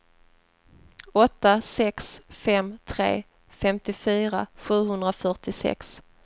åtta sex fem tre femtiofyra sjuhundrafyrtiosex